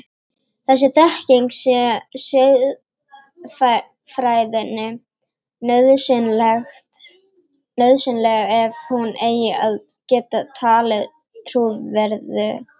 Þessi þekking sé siðfræðinni nauðsynleg ef hún eigi að geta talist trúverðug.